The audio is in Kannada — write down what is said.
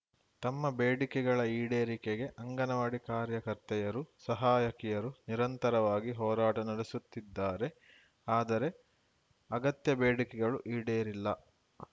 ತಮ್ಮ ಬೇಡಿಕೆಗಳ ಈಡೇರಿಕೆಗೆ ಅಂಗನವಾಡಿ ಕಾರ್ಯಕರ್ತೆಯರು ಸಹಾಯಕಿಯರು ನಿರಂತರವಾಗಿ ಹೋರಾಟ ನಡೆಸುತ್ತಿದ್ದಾರೆ ಆದರೆ ಅಗತ್ಯ ಬೇಡಿಕೆಗಳು ಈಡೇರಿಲ್ಲ